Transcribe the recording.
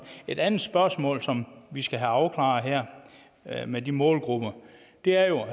et andet spørgsmål som vi skal have afklaret her her med de målgrupper og det er jo